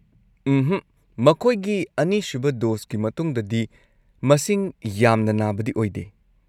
ꯎꯝꯍꯛ, ꯃꯈꯣꯏꯒꯤ ꯑꯅꯤꯁꯨꯕ ꯗꯣꯁꯀꯤ ꯃꯇꯨꯡꯗꯗꯤ ꯃꯁꯤꯡ ꯌꯥꯝꯅ ꯅꯥꯕꯗꯤ ꯑꯣꯏꯗꯦ꯫